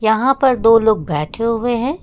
वहां पर दो लोग बैठे हुए हैं।